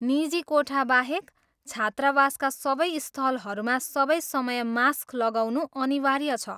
निजी कोठाबाहेक छात्रावासका सबै स्थलहरूमा सबै समय मास्क लगाउनु अनिवार्य छ।